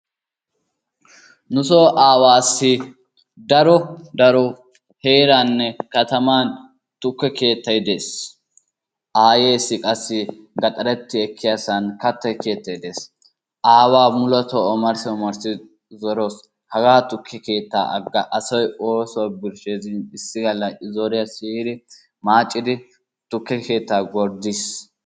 Nuso aawaassi daro daro heeraanne kataman tukke keettay dees. Aayeessi qassi gaxaretti ekkiyasan katta keettay dees. Aawaa muletoo omarssi omarssi zorawusu. Hagaa tukke keettaa agga asay oosuwa birshshees gin issi galla I zoriya siyidi maacidi tukke keettaa gorddiis.